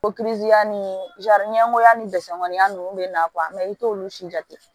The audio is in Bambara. ni ɲɛkoya ni mɔgɔniya ninnu bɛ na i t'olu si jate